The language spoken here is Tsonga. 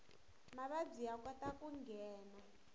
mavabyi ya kota ku nghena